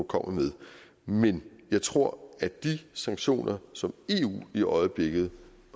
kommer med men jeg tror at de sanktioner som eu i øjeblikket